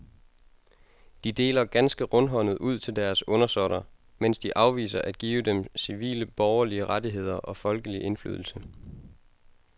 De deler ganske rundhåndet ud til deres undersåtter, mens de afviser at give dem civile borgerlige rettigheder og folkelig indflydelse.